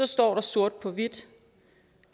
står der sort på hvidt